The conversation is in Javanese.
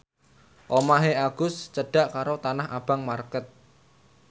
omahe Agus cedhak karo Tanah Abang market